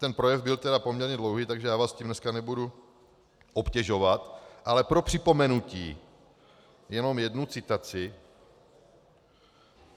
Ten projev byl tedy poměrně dlouhý, takže já vás tím dneska nebudu obtěžovat, ale pro připomenutí jenom jednu citaci.